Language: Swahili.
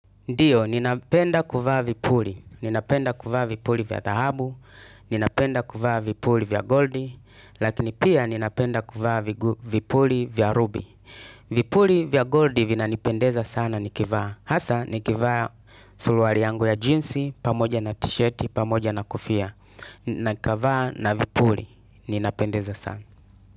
Ndiyo, ninapenda kuvaa vipuri. Ninapenda kuvaa vipuri vya dhahabu. Ninapenda kuvaa vipuri vya goldi. Lakini pia ninapenda kuvaa vipuri vya rubi. Vipuri vya goldi vina nipendeza sana nikivaa. Hasa nikivaa suluari yangu ya jeans, pamoja na tisheti, pamoja na kofia. Na nikavaa na vipuri. Ninapendeza sana.